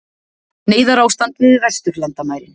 Neyðarástand við vesturlandamærin